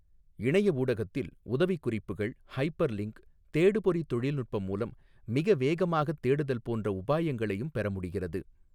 இணைய ஊடகத்தில் உதவிக்குறிப்புகள், ஹைப்பர்லின்க், தேடுபொறித் தொழில்நுட்பம் மூலம் மிக வேகமாகத் தேடுதல் போன்ற உபாயங்களையும் பெற முடிகிறது.